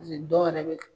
dɔw yɛrɛ bɛ